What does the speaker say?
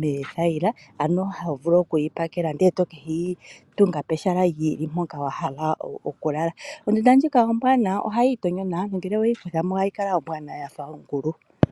meethayila, ano ha vulu okuyi pakele nde to keyi tunga pehala lyili mpoka wa hala oku lala. Ondunda ndjika ombwaanawa ohayi itonyo nawa, ngele oweyi kuthamo ohayi kala ombwaanawa yafa ongulu.